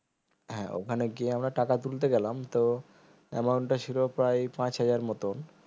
হ্যাঁ ওখানে গিয়ে আমরা টাকা তুলতে গেলাম তো amount টা ছিল প্রায় পাঁচ হাজার এর মতো